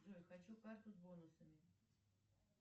джой хочу карту с бонусами